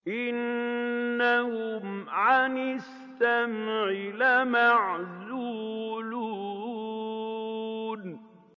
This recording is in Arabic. إِنَّهُمْ عَنِ السَّمْعِ لَمَعْزُولُونَ